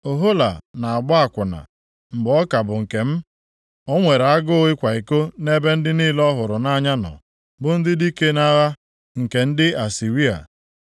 “Ohola na-agba akwụna mgbe ọ ka bụ nkem. O nwere agụụ ịkwa iko nʼebe ndị niile ọ hụrụ nʼanya nọ, bụ ndị dike nʼagha nke ndị Asịrịa,